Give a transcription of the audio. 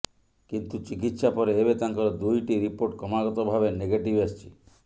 କିନ୍ତୁ ଚିକିତ୍ସା ପରେ ଏବେ ତାଙ୍କର ଦୁଇଟି ରିପୋର୍ଟ କ୍ରମାଗତ ଭାବେ ନେଗେଟିଭ୍ ଆସିଛି